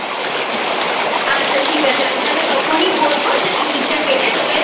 আচ্ছা ঠিক আছে আমি তালে তখনই বলব Ticket টা কেটে তোকে